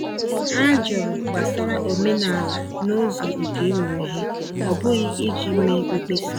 Ha jụrụ gbasara omenala n’ụzọ nke ịmụ ihe, ọ bụghị iji mee mkpesa.